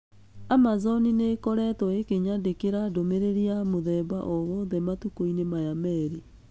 Amazon nĩ ĩkoretwo ĩkĩnjandĩkĩra ndũmĩrĩri ya mũthemba o wothe matukũinĩ maya merĩ.